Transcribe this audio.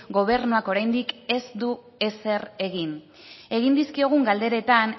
gobernuak oraindik ez du ezer egin egin dizkigun galderetan